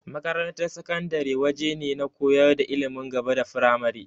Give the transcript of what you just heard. Makarantar sakandare waje ne na koyar da ilimin gaba da firamare.